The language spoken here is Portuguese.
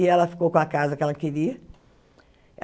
E ela ficou com a casa que ela queria.